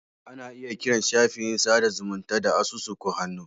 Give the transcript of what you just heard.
Ana iya kiran shafin sada zumunta da asusu ko hannu.